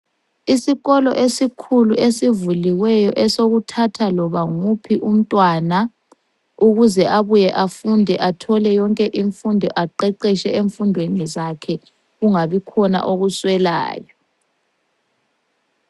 Isikolo esikhulu esivuliweyo esokuthatha loba nguphi umntwana ukuze abuye afunde athole yonke imfundo aqeqetshe emfundweni zakhe kungabikhona okuswelayo.